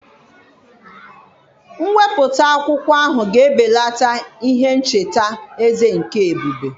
Mwepụta akwụkwọ ahụ ga-ebelata ihe ncheta eze nke ebube.